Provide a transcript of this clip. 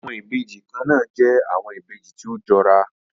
Awọn ibeji kanna jẹ awọn ibeji ti o jọra